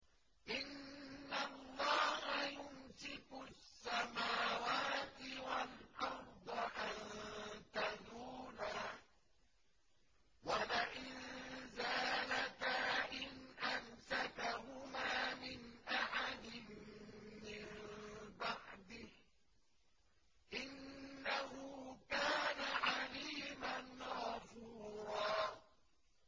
۞ إِنَّ اللَّهَ يُمْسِكُ السَّمَاوَاتِ وَالْأَرْضَ أَن تَزُولَا ۚ وَلَئِن زَالَتَا إِنْ أَمْسَكَهُمَا مِنْ أَحَدٍ مِّن بَعْدِهِ ۚ إِنَّهُ كَانَ حَلِيمًا غَفُورًا